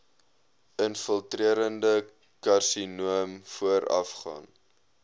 infiltrerende karsinoom voorafgaan